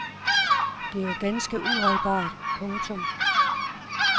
Det er jo ganske uholdbart. punktum